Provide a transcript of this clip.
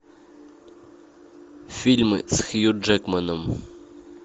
фильмы с хью джекманом